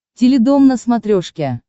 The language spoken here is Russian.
теледом на смотрешке